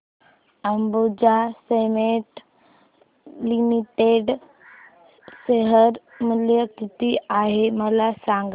Ambuja cements limited share मूल्य किती आहे मला सांगा